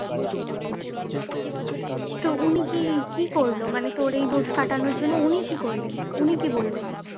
তো উনি কি কী করলো? মানে তোর এই দোষ কাটানোর জন্য উনি কি করলেন? উনি কি বললেন?